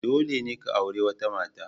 Dole ne ka auri wata mata.